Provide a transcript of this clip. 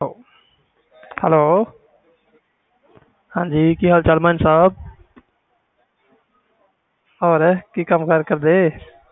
hello ਵਧੀਆ ਤੁਸੀ ਸੁਣਾਓ